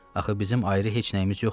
Axı bizim ayrı heç nəyimiz yoxdur.